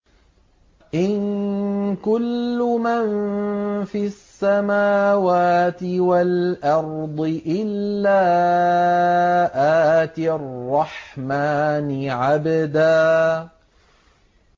إِن كُلُّ مَن فِي السَّمَاوَاتِ وَالْأَرْضِ إِلَّا آتِي الرَّحْمَٰنِ عَبْدًا